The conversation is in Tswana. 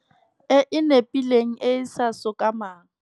E e nepileng e e sa sokamang.